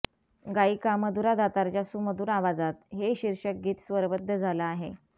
गायिका मधुरा दातारच्या सुमधुर आवाजात हे शीर्षक गीत स्वरबद्ध झालं आहे